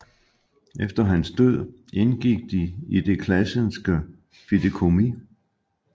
Efter hans død indgik de i Det Classenske Fideikommis